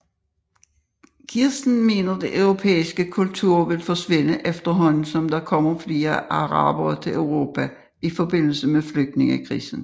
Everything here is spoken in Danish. Kirsten mener den europæiske kultur vil forsvinde efterhånden som der kommer flere arabere til Europa i forbindelse med flygtningekrisen